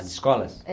As escolas? É.